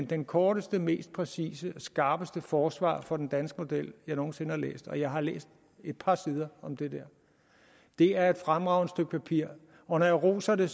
det korteste og mest præcise og skarpeste forsvar for den danske model jeg nogen sinde har læst og jeg har læst et par sider om det der det er et fremragende stykke papir og når jeg roser det